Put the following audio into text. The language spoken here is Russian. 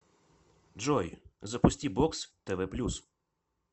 джой запусти бокс тв плюс